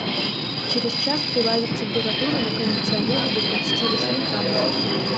через час прибавить температуру на кондиционере до двадцати восьми градусов